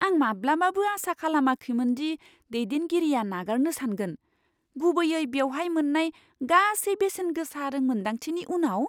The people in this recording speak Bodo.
आं माब्लाबाबो आसा खालामाखैमोनदि दैदेनगिरिया नागारनो सानगोन, गुबैयै बेवहाय मोन्नाय गासै बेसेनगोसा रोंमोनदांथिनि उनाव।